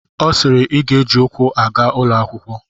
Ọ sịịrị I ga-eji ụkwụ aga ụlọ akwụkwọ!